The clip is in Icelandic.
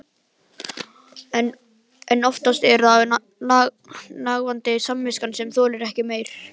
En oftast er það nagandi samviskan sem þolir ekki meir.